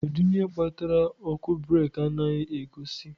Kedu ihe kpatara ọkụ breeki anaghị egosi?